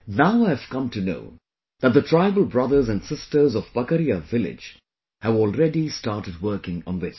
Now I have come to know that the tribal brothers and sisters of Pakaria village have already started working on this